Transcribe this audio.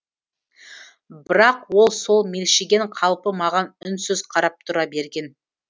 бірақ ол сол мелшиген қалпы маған үнсіз қарап тұра берген